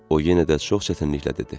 O yenə də çox çətinliklə dedi.